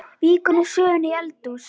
Víkur nú sögunni í eldhús.